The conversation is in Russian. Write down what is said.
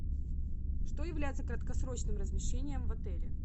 что является краткосрочным размещением в отеле